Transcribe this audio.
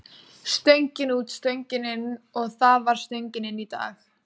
Stöngin út, stöngin inn og það var stöngin inn í dag.